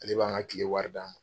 Ale b'an ka tile wari d'an ma.